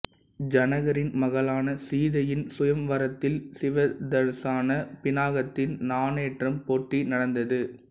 ஜனகரின் மகளான சீதையின் சுயம்வரத்தில் சிவதனுசான பிநாகத்தின் நாணேற்றும் போட்டி நடந்தது